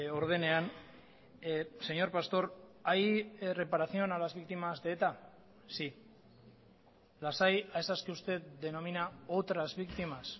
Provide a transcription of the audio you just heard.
ordenean señor pastor hay reparación a las víctimas de eta sí las hay a esas que usted denomina otras víctimas